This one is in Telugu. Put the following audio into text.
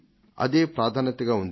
అదే ప్రాధాన్యతగా ఉంది